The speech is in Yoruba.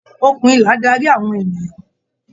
òkun ìlà darí àwọn ènìyàn.